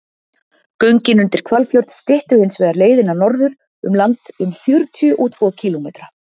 göngin undir hvalfjörð styttu hins vegar leiðina norður um land um fjörutíu og tvo kílómetra